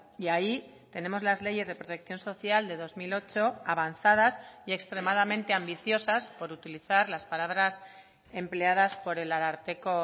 y ahí tenemos las leyes de protección social de dos mil ocho avanzadas y extremadamente ambiciosas por utilizar las palabras empleadas por el ararteko